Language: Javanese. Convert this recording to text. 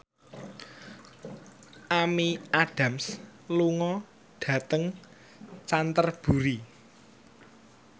Amy Adams lunga dhateng Canterbury